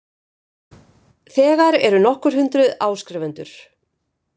Þegar eru nokkur hundruð áskrifendur